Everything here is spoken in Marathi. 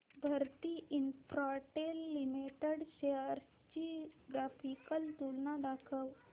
भारती इन्फ्राटेल लिमिटेड शेअर्स ची ग्राफिकल तुलना दाखव